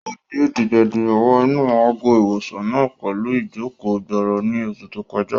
Ó gbe dìgbà-dìgbà wọ inú àgọ́-ìwòsàn náà pẹ̀lú ìjòkó-gbọọrọ ní oṣù tó kọjá